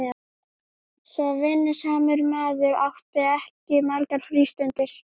Svo vinnusamur maður átti ekki margar frístundir.